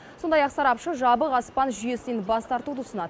сондай ақ сарапшы жабық аспан жүйесінен бас тартуды ұсынады